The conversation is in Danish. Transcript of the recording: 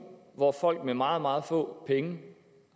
hvor folk med meget meget få penge